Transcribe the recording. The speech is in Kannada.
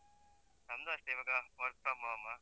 ನಂದೂ ಅಷ್ಟೇ ಇವಾಗ work from home .